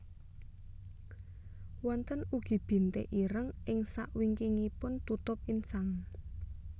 Wonten ugi bintik ireng ing sakwingkingipun tutup insang